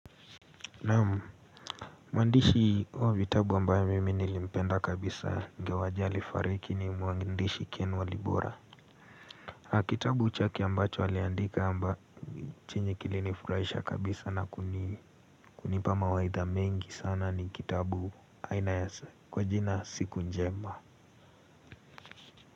Naam, mwandishi wa vitabu ambayo mimi nilimpenda kabisa ingawaje alifariki ni mwandishi ken walibora. Kitabu chake ambacho aliandika amba chenye kilinifurahisha kabisa na kunipa mawaidha mengi sana ni kitabu aina ya sa kwa jina siku njema.